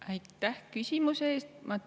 Aitäh küsimuse eest!